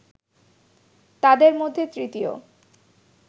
তাদের মধ্যে তৃতীয়